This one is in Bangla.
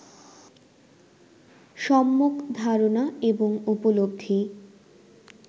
সম্মক ধারণা এবং উপলব্ধি